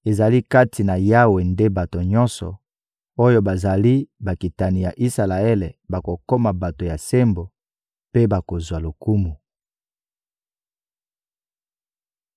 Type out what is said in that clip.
Ezali kati na Yawe nde bato nyonso oyo bazali bakitani ya Isalaele bakokoma bato ya sembo mpe bakozwa lokumu.